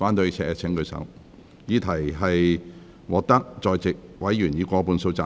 我認為議題獲得在席委員以過半數贊成。